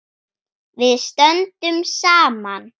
Við stöndum saman.